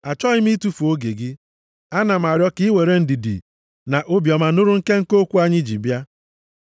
Achọghị m itufu oge gị. Ana m arịọ ka i were ndidi na obiọma nụrụ nkenke okwu anyị ji bịa.